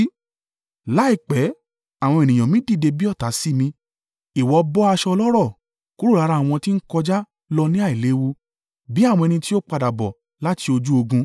Láìpẹ́ àwọn ènìyàn mi dìde bí ọ̀tá sí mi. Ìwọ bọ́ aṣọ ọlọ́rọ̀ kúrò lára àwọn tí ń kọjá lọ ní àìléwu, bí àwọn ẹni tí ó padà bọ̀ láti ojú ogun.